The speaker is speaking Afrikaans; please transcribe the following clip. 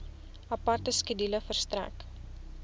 aparte skedule verstrek